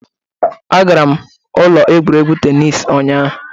Agara m ụlọ egwuregwu tennis ụnyahụ.